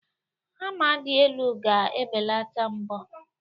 Hama dị elu ga-ebelata mbọ.